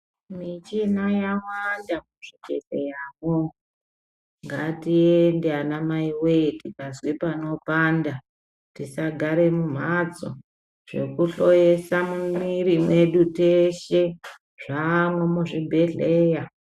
Michina yawanda muzvibhedhleyamwo. Ngatiende anamaiwee tikazwe panopanda. Tisagare mumhatso. Zvekuhloyesa mumwiri mwedu teeshe ,zvaamwo muzvibhedhleya.